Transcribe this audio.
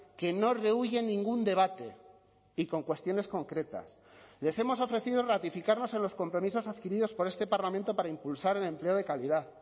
que no rehúye en ningún debate y con cuestiones concretas les hemos ofrecido ratificarnos en los compromisos adquiridos por este parlamento para impulsar el empleo de calidad